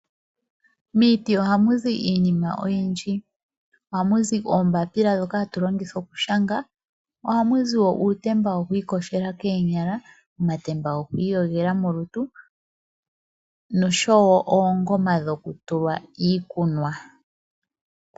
Miiti ohamu zi iinima oyindji. Ohamu zi oombapila ndhoka hatu longitha okushanga . Ohamu zi woo uutemba wokwiiyogela koonyala ,omatemba goku iyogela molutu noshowo oongoma dhokutula iikunwa.